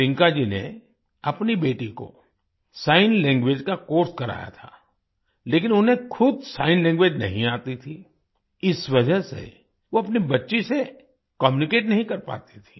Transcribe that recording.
टिंकाजी ने अपनी बेटी को सिग्न लैंग्वेज का कोर्स कराया था लेकिन उन्हें खुद सिग्न लैंग्वेज नहीं आती थी इस वजह से वो अपनी बच्ची से कम्यूनिकेट नहीं कर पाती थी